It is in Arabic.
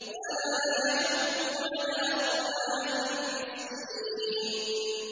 وَلَا يَحُضُّ عَلَىٰ طَعَامِ الْمِسْكِينِ